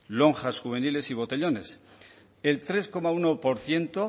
lonjas juveniles y botellones el tres coma uno por ciento